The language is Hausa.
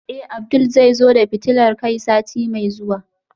Eh Abdul zai zo da fitilar kai sati mai zuwa